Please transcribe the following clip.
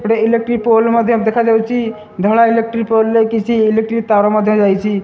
ଗୋଟେ electric pole ମଧ୍ୟ ଦେଖା ଯାଉଅଛି ଧଳା ଇଲେକ୍ଟ୍ରିକ ପୋଲ ମଧ୍ୟ ଇଲେକ୍ଟ୍ରିକ୍ ତାର ମଧ୍ୟ ଯାଇଛି।